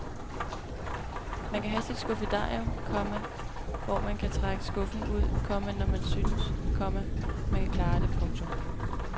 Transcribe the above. Man kan have sit skuffedarium, komma hvor man kan trække skuffen ud, komma når man synes, komma man kan klare det. punktum